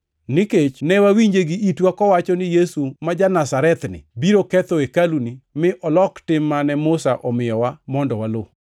Nikech ne wawinje gi itwa kowacho ni Yesu ma ja-Nazarethni biro ketho hekaluni mi olok tim mane Musa omiyowa mondo waluw.”